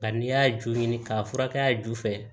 Bari n'i y'a ju ɲini k'a furakɛ ju fɛ